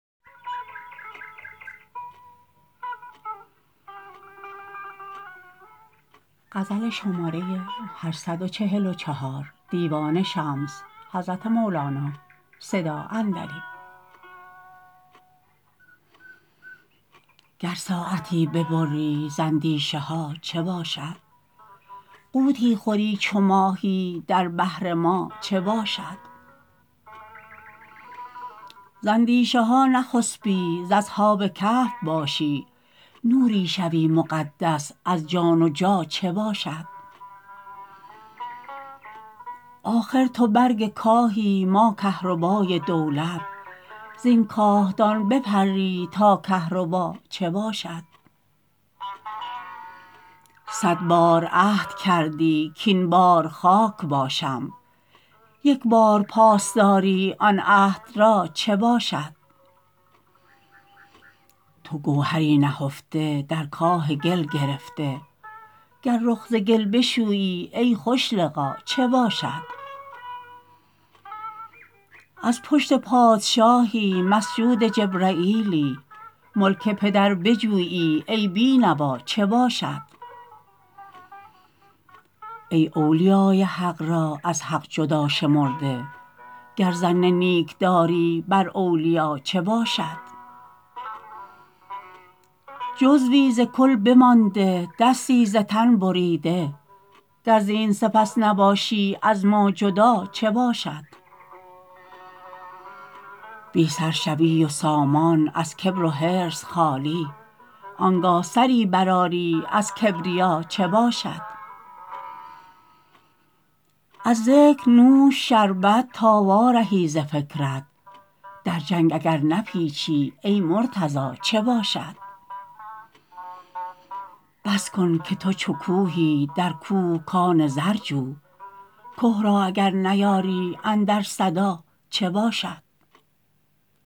گر ساعتی ببری ز اندیشه ها چه باشد غوطی خوری چو ماهی در بحر ما چه باشد ز اندیشه ها نخسپی ز اصحاب کهف باشی نوری شوی مقدس از جان و جا چه باشد آخر تو برگ کاهی ما کهربای دولت زین کاهدان بپری تا کهربا چه باشد صد بار عهد کردی کاین بار خاک باشم یک بار پاس داری آن عهد را چه باشد تو گوهری نهفته در کاه گل گرفته گر رخ ز گل بشویی ای خوش لقا چه باشد از پشت پادشاهی مسجود جبرییلی ملک پدر بجویی ای بی نوا چه باشد ای اولیای حق را از حق جدا شمرده گر ظن نیک داری بر اولیا چه باشد جزوی ز کل بمانده دستی ز تن بریده گر زین سپس نباشی از ما جدا چه باشد بی سر شوی و سامان از کبر و حرص خالی آنگه سری برآری از کبریا چه باشد از ذکر نوش شربت تا وارهی ز فکرت در جنگ اگر نپیچی ای مرتضا چه باشد بس کن که تو چو کوهی در کوه کان زر جو که را اگر نیاری اندر صدا چه باشد